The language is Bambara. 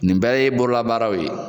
Nin bɛɛ ye bololabaaraw ye.